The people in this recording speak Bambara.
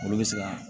Olu bɛ se ka